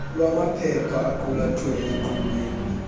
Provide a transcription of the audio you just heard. lwamaphepha aqulathwe emqulwini